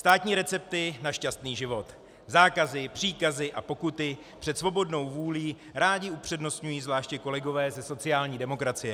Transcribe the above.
Státní recepty na šťastný život, zákazy, příkazy a pokuty před svobodnou vůlí rádi upřednostňují zvláště kolegové ze sociální demokracie.